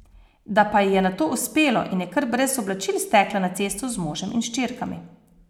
Da pa ji je nato uspelo in je kar brez oblačil stekla na cesto z možem in hčerkami.